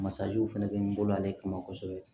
Masaw fɛnɛ bɛ n bolo ale kama kosɛbɛ